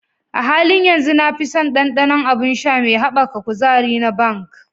A halin yanzu, na fi son ɗanɗanon abun sha me haɓaka kuzari na "Bang".